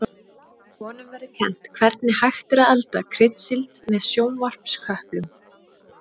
Í honum verður kennt hvernig hægt er að elda kryddsíld með sjónvarpsköplum.